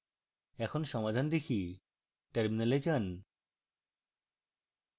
এখন সমাধান দেখি terminal যান